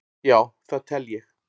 Já það tel ég.